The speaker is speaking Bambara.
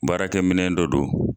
Baarakɛ minɛn dɔ do.